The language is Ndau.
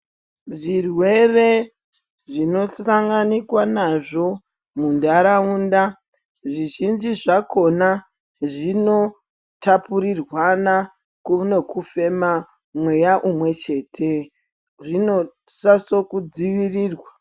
Zvirwere zvino sanganikwa nazvo mundaraunda zvizhinji zvakona zvino tapurirwana neku fema mweya umwe chete zvino siso kudzivirirwa.